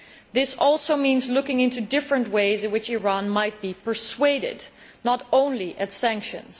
This also means looking into different ways in which Iran might be persuaded, and not just at sanctions.